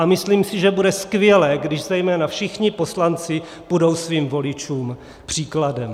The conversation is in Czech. A myslím si, že bude skvělé, když zejména všichni poslanci půjdou svým voličům příkladem.